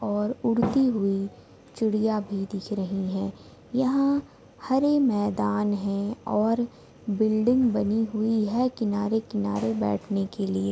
और उड़ती हुई चिड़िया भी दिख रही है यहाँ हरे मैदान है और बिल्डिंग बनी हुई है किनारे-किनारे बेठने के लिए।